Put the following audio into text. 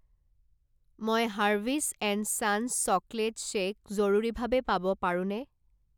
মই Harvey's and Sons chocolate shake জৰুৰীভাৱে পাব পাৰোঁনে?